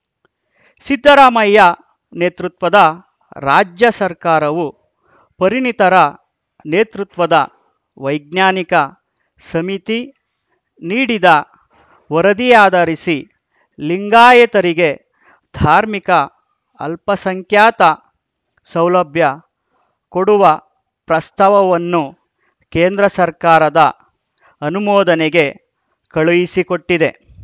ಸಿದ್ದರಾಮಯ್ಯ ನೇತೃತ್ವದ ರಾಜ್ಯ ಸರ್ಕಾರವು ಪರಿಣತರ ನೇತೃತ್ವದ ವೈಜ್ಞಾನಿಕ ಸಮಿತಿ ನೀಡಿದ ವರದಿಯಾಧರಿಸಿ ಲಿಂಗಾಯತರಿಗೆ ಧಾರ್ಮಿಕ ಅಲ್ಪಸಂಖ್ಯಾತ ಸೌಲಭ್ಯ ಕೊಡುವ ಪ್ರಸ್ತಾಪವನ್ನು ಕೇಂದ್ರ ಸರ್ಕಾರದ ಅನುಮೋದನೆಗೆ ಕಳುಹಿಸಿಕೊಟ್ಟಿದೆ